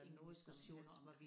Ingen diskussioner om